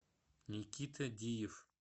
никита диев